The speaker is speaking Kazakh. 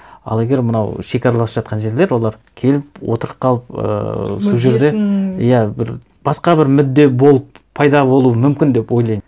ал егер мынау шекаралас жатқан жерлер олар келіп отырып қалып ыыы сол жерде мүддесін иә бір басқа бір мүдде болып пайда болуы мүмкін деп ойлаймын